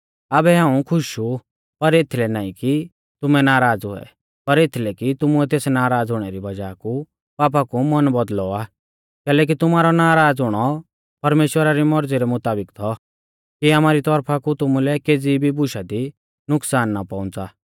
आबै हाऊं खुश ऊ पर एथलै नाईं कि तुमैं नाराज़ हुऐ पर एथलै कि तुमुऐ तेस नाराज़ हुणै री वज़ाह कु पापा कु मन बौदल़ौ आ कैलैकि तुमारौ नराज़ हुणौ परमेश्‍वरा री मौरज़ी रै मुताबिक थौ कि आमारी तौरफा कु तुमुलै केज़ी भी बुशा दी नुकसान ना पहुंच़ा